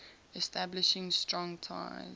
establishing strong ties